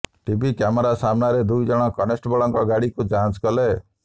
TV camera ସାମ୍ନାରେ ଦୁଇଜଣ constable ଗାଡିକୁ ଯାଞ୍ଚ କଲେ